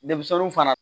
Denmisɛnninw fana